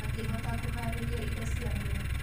Akĩhota kũharĩria indo ciake.